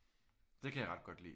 Det kan jeg ret godt lide